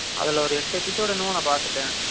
அதுல ஒரு எட்டு episode என்னமோ நான் பாத்துட்டேன்.